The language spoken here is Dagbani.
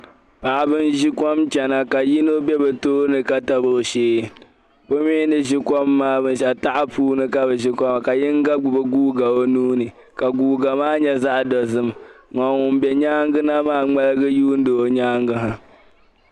Paɣiba n-ʒi kom n-chana ka yino be bɛ tooni ka tabi o shee bɛ mi ni ʒi kom maa taha puuni ka bɛ ʒi kom maa ka yino gbubi guuga o nua ni ka guuga maa nyɛ zaɣ’dɔzim ka ŋun be nyaaŋa na maa ŋmaligi n-yuuni o nyaaŋa ha